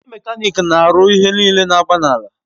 Ndi mekanik n'aru ihe nile n'agba n'ala